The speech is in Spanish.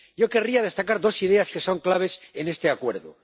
Yo querría destacar dos ideas que son claves en este acuerdo.